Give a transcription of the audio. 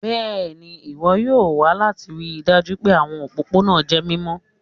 Bẹẹni, iwọn yoo wa lati rii daju pe awọn opopona jẹ mimọ